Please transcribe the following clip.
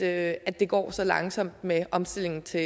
at at det går så langsomt med omstillingen til